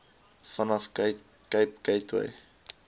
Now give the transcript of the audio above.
vanaf cape gateway